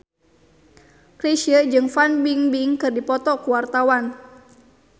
Chrisye jeung Fan Bingbing keur dipoto ku wartawan